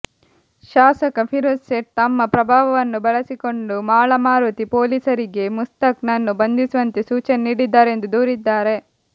ಶಾಸಕ ಫಿರೋಜ್ ಸೇಠ್ ತಮ್ಮ ಪ್ರಭಾವವನ್ನು ಬಳಸಿಕೊಂಡು ಮಾಳಮಾರುತಿ ಪೊಲೀಸರಿಗೆ ಮುಸ್ತಾಕ್ ನನ್ನು ಬಂಧಿಸುವಂತೆ ಸೂಚನೆ ನೀಡಿದ್ದರೆಂದು ದೂರಿದ್ದಾರೆ